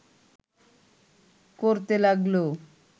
করতে লাগল